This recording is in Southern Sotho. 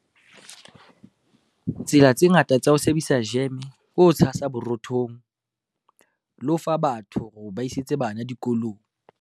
Tsela tse ngata tsa ho sebedisa jeme ke ho tshasa borothong, le ho fa batho hore ba isetse bana dikolong.